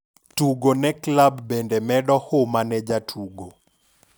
Tugo ne klab bende medo huma ne jatugo.